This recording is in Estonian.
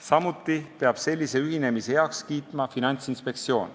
Samuti peab Finantsinspektsioon sellise ühinemise heaks kiitma.